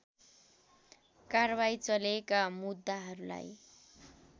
कारबाही चलेका मुद्दाहरूलाई